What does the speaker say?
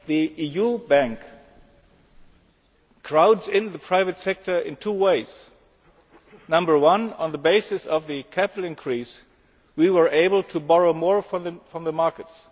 The EU Bank crowds in the private sector in two ways number one, on the basis of the capital increase, we were able to borrow more from the markets.